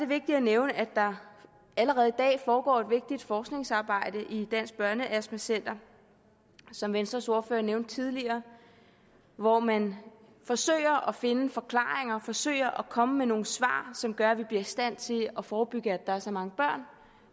vigtigt at nævne at der allerede i dag foregår et vigtigt forskningsarbejde i dansk børneastma center som venstres ordfører nævnte tidligere hvor man forsøger at finde forklaringer forsøger at komme med nogle svar som gør at vi bliver i stand til at forebygge at der er så mange børn